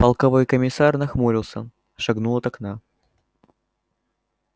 полковой комиссар нахмурился шагнул от окна